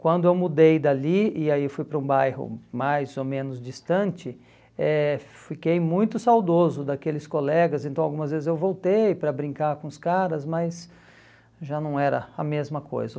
Quando eu mudei dali e aí fui para um bairro mais ou menos distante, eh fiquei muito saudoso daqueles colegas, então algumas vezes eu voltei para brincar com os caras, mas já não era a mesma coisa.